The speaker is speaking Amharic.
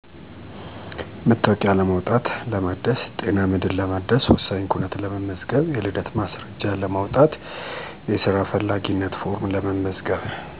መታወቂያ ለማውጣት(ለማሳደስ)፣ጤና መድን ለማደስ፣ ወሳኝ ኩነት ለመመዝገብ የልደት ማስረጃ ለማውጣት፣ የስራ ፈላጊነት ፎርም ለመመዝገብ